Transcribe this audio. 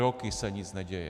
Roky se nic neděje.